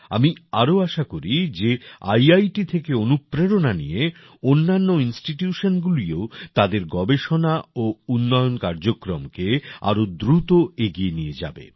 আমি আরও আশা করি যে ইআইটি থেকে অনুপ্রেরণা নিয়ে অন্যান্য ইনস্টিটিউশনগুলিও তাদের গবেষণা ও উন্নয়ন কার্যক্রমকে আরও দ্রুত এগিয়ে নিয়ে যাবে